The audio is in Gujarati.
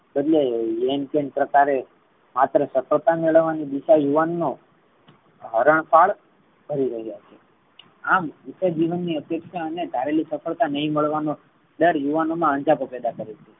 ancient પ્રકારે માત્ર સફળતા મેલવાની દિશા યુવાન નો હરણપાળ કરી રહ્યો છે. આ જીવન ની અપેક્ષા અને ધારેલી સફળતા નાઈ મળવાનો ડર યુવાનો મા અંજપો પૈદા કરે છે.